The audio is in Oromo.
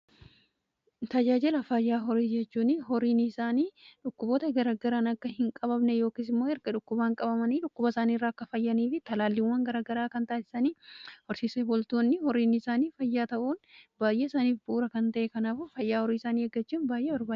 Tajaajila fayyaa horii jechuuni horiini isaanii dhukkuboota garagaran akka hin qabne yookiis immoo erga dhukkubaan qabamanii dhukkuba isaanii irraa akka fayyanii fi talaalliiwwan garagaraa kan taassisanii horsiise boltoonni horiin isaanii fayyaa ta'uun baay'ee isaaniif bu'uura kan ta'ee kanaafuu fayyaa horii isanii eggachuun baay'ee barbaachisaadha.